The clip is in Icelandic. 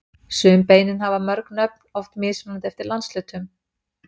Sum beinin hafa mörg nöfn, oft mismunandi eftir landshlutum.